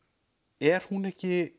er hún ekki